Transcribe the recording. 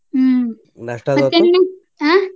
ಹ್ಮ್ .